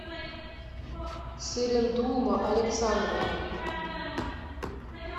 цырендулма александровна